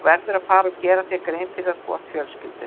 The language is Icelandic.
Þú verður að fara að gera þér grein fyrir því að þú átt fjölskyldu.